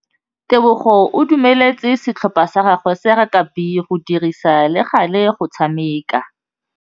Tebogô o dumeletse setlhopha sa gagwe sa rakabi go dirisa le galê go tshameka.